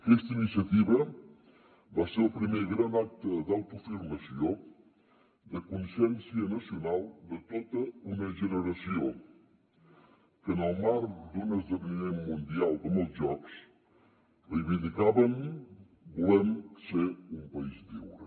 aquesta iniciativa va ser el primer gran acte d’autoafirmació de consciència nacional de tota una generació que en el marc d’un esdeveniment mundial com els jocs reivindicaven volem ser un país lliure